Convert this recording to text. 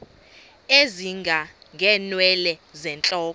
ezinga ngeenwele zentloko